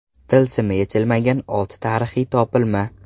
Tilsimi yechilmagan olti tarixiy topilma.